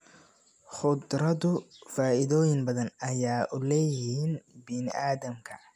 Khudradu faa'iidooyin badan ayay u leeyihiin bini'aadamka